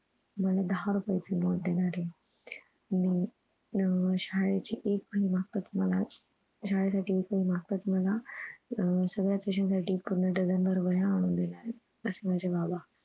मला दहा रुपये ची note देणारे मी अह शाळेची एक वही मागताच मला शाळेसाठी एक वही मागताच मला अह सगळ्यांचं विषयासाठी पूर्ण डझन भर वह्या आणून देणारे असे माझे बाबा